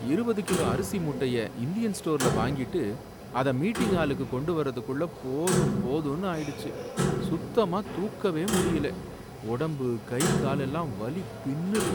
இருபது கிலோ அரிசி மூட்டைய இந்தியன் ஸ்டோர்ல வாங்கிட்டு அத மீட்டிங் ஹாலுக்கு கொண்டு வரதுக்குள்ள போதும் போதும்னு ஆயிடுச்சு. சுத்தமா தூக்கவே முடியல உடம்பு, கை காலெல்லாம் வலி பின்னுது